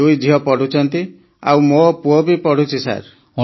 ଦୁଇ ଝିଅ ପଢ଼ୁଛନ୍ତି ଆଉ ମୋ ପୁଅ ବି ପଢ଼ୁଛି ସାର୍